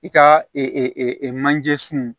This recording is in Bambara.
I ka manje sun